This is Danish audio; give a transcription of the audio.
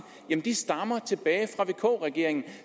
stammer tilbage fra vk regeringen